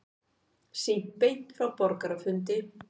Sýnt beint frá borgarafundi